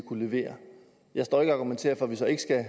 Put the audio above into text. kunne levere jeg står ikke og argumenterer for at vi så ikke skal